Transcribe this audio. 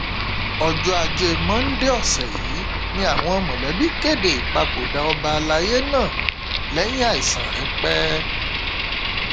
ọjọ ajé monde ọsẹ yìí ni àwọn mọlẹbí kéde ìpapòdà ọba àlàyé náà lẹyìn àìsàn rẹpẹ